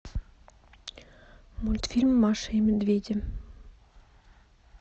мультфильм маша и медведи